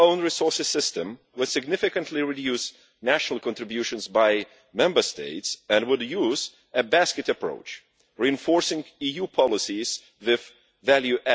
The new own resources system will significantly reduce national contributions by Member States and would use a basket approach, reinforcing EU policies with added value.